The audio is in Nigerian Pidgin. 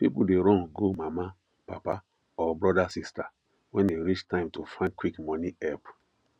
people dey run go mama papa or brothersister when e reach time to find quick money help